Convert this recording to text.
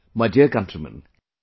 My dear countrymen,